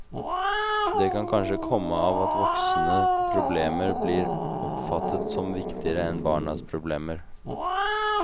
Det kan kanskje komme av at voksne problemer blir oppfattet som viktigere enn barns problemer.